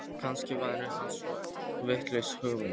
Kannski væri það ekki svo vitlaus hugmynd.